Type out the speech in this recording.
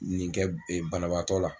Nin kɛ ee banabaatɔ la